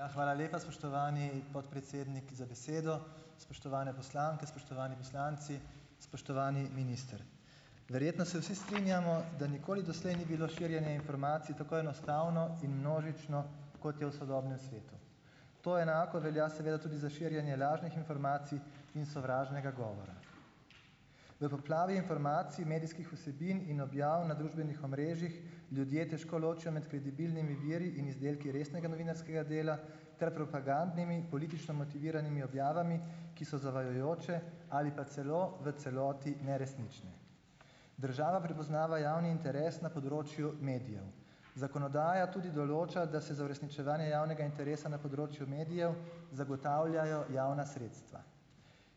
Ja, hvala lepa, spoštovani podpredsednik, za besedo. Spoštovane poslanke, spoštovani poslanci, spoštovani minister. Verjetno se vsi strinjamo , da nikoli doslej ni bilo širjenje informacij tako enostavno in množično, kot je v sodobnem svetu. To enako velja seveda tudi za širjenje lažnih informacij in sovražnega govora. V poplavi informacij medijskih vsebin in objav na družbenih omrežjih ljudje težko ločijo med kredibilnimi viri in izdelki resnega novinarskega dela ter propagandnimi, politično motiviranimi objavami, ki so zavajajoče ali pa celo v celoti neresnične. Država prepoznava javni interes na področju medijev. Zakonodaja tudi določa, da se za uresničevanje javnega interesa na področju medijev zagotavljajo javna sredstva.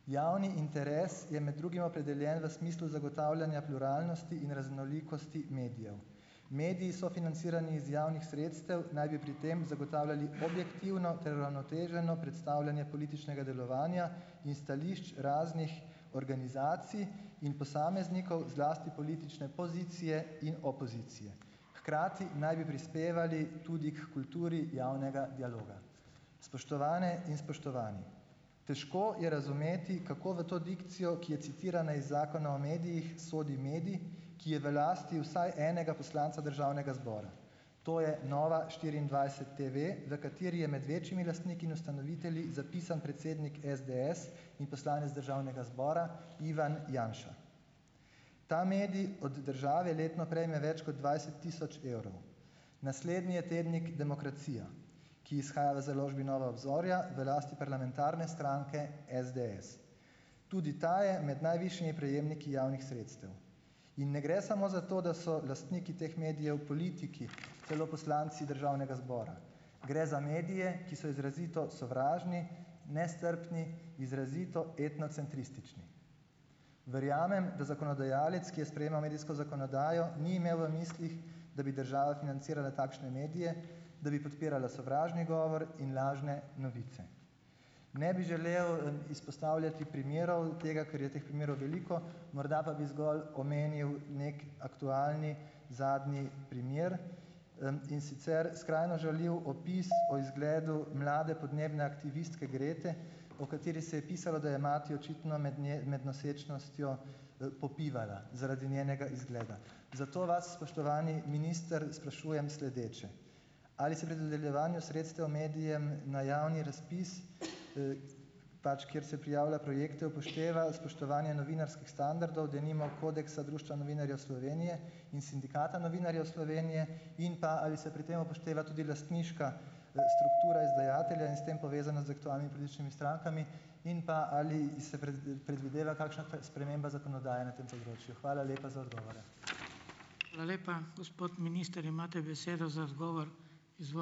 Javni interes je med drugim opredeljen v smislu zagotavljanja pluralnosti in raznolikosti medijev. Mediji so financirani iz javnih sredstev naj bi pri tem zagotavljali objektivno ter uravnoteženo predstavljanje političnega delovanja in stališč raznih organizacij in posameznikov, zlasti politične pozicije in opozicije. Hkrati naj bi prispevali tudi h kulturi javnega dialoga. Spoštovane in spoštovani. Težko je razumeti, kako v to dikcijo, ki je citirana iz Zakona o medijih sodi medij, ki je v lasti vsaj enega poslanca državnega zbora. To je Nova štiriindvajset TV, v kateri je med večjimi lastniki in ustanovitelji zapisan predsednik SDS in poslanec državnega zbora, Ivan Janša. Ta medij od države letno prejme več kot dvajset tisoč evrov. Naslednji je tednik Demokracija, ki izhaja v založbi Nova Obzorja, v lasti parlamentarne stranke SDS. Tudi ta je med najvišjimi prejemniki javnih sredstev. In ne gre samo za to, da so lastniki teh medijev politiki, celo poslanci državnega zbora. Gre za medije, ki so izrazito sovražni, nestrpni, izrazito etnocentristični. Verjamem, da zakonodajalec, ki je sprejemal medijsko zakonodajo, ni imel v mislih, da bi država financirala takšne medije, da bi podpirala sovražni govor in lažne novice. Ne bi želel, izpostavljati primerov tega, ker je teh primerov veliko, morda pa bi zgolj omenil neki aktualni zadnji primer, in sicer skrajno žaljiv opis o izgledu mlade podnebne aktivistke Grete, o kateri se je pisalo, da je mati očitno med med nosečnostjo, popivala zaradi njenega izgleda. Zato vas, spoštovani minister, sprašujem sledeče. Ali se pri dodeljevanju sredstev medijem na javni razpis, pač kjer se prijavlja projekte, upošteva spoštovanje novinarskih standardov, denimo kodeksa Društva novinarjev Slovenije in Sindikata novinarjev Slovenije? In pa, ali se pri tem upošteva tudi lastniška, struktura izdajatelja in s tem povezano z aktualnimi političnimi strankami? In pa, ali se predvideva kakšna sprememba zakonodaje na tem področju? Hvala lepa za odgovore. Hvala lepa. Gospod minister, imate besedo za odgovor. ...